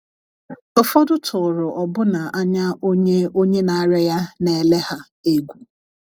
Ụfọdụ tụrụ ọbụna anya onye onye na - arịa ya na - ele ha egwu!